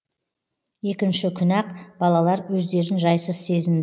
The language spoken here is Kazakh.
екінші күні ақ балалар өздерін жайсыз сезін